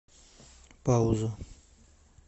пауза